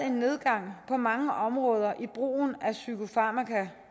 en nedgang på mange områder i brugen af psykofarmaka